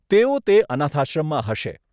તેઓ તે અનાથાશ્રમમાં હશે.